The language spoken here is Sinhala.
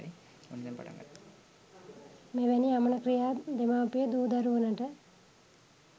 මෙවැනි අමන ක්‍රියා දෙමාපිය දූ දරුවනට